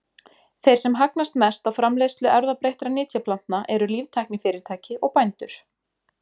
Þeir sem hagnast mest á framleiðslu erfðabreyttra nytjaplantna eru líftæknifyrirtæki og bændur.